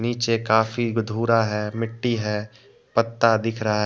नीचे काफी धूरा है मिट्टी है पत्ता दिख रहा --